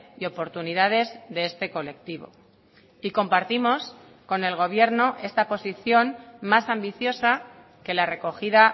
y oportunidades de este colectivo y compartimos con el gobierno esta posición más ambiciosa que la recogida